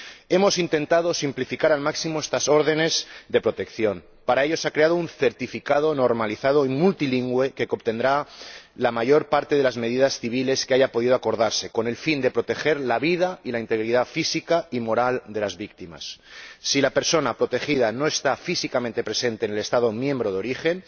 Hemos intentado simplificar al máximo estas órdenes de protección. Para ello se ha creado un certificado normalizado y multilingüe que contendrá la mayor parte de las medidas civiles que hayan podido acordarse, con el fin de proteger la vida y la integridad física y moral de las víctimas. Si la persona protegida no está físicamente presente en el Estado miembro de origen,